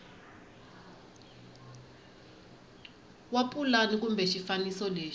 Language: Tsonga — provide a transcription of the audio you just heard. wa pulani kumbe xifaniso lexi